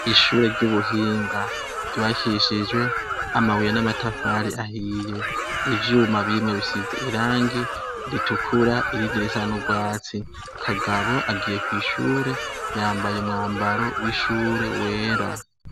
Ishure ry'ubuhinga ryubakishijwe amabuye n'amatafari ahiye ivyuma bimwe bisize irangi ritukura irindi risan'urwatsi kagabo agiye kw'ishure yambaye umwambaro w'ishure wera.